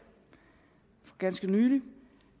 for ganske nylig